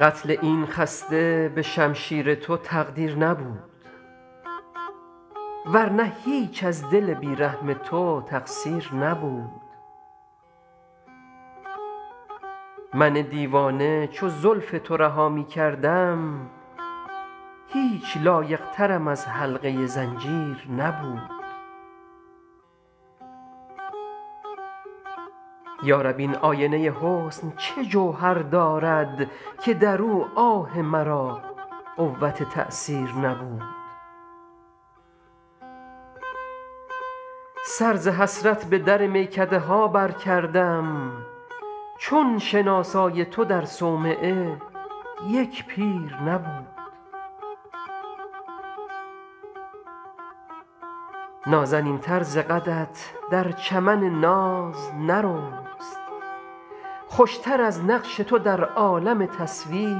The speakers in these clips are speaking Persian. قتل این خسته به شمشیر تو تقدیر نبود ور نه هیچ از دل بی رحم تو تقصیر نبود من دیوانه چو زلف تو رها می کردم هیچ لایق ترم از حلقه زنجیر نبود یا رب این آینه حسن چه جوهر دارد که در او آه مرا قوت تأثیر نبود سر ز حسرت به در میکده ها برکردم چون شناسای تو در صومعه یک پیر نبود نازنین تر ز قدت در چمن ناز نرست خوش تر از نقش تو در عالم تصویر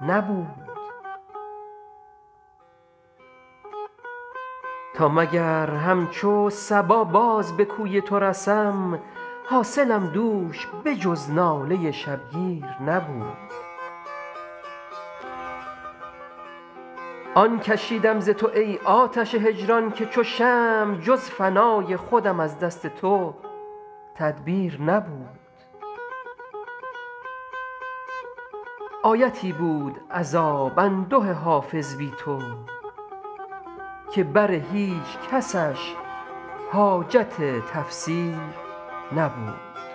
نبود تا مگر همچو صبا باز به کوی تو رسم حاصلم دوش به جز ناله شبگیر نبود آن کشیدم ز تو ای آتش هجران که چو شمع جز فنای خودم از دست تو تدبیر نبود آیتی بود عذاب انده حافظ بی تو که بر هیچ کسش حاجت تفسیر نبود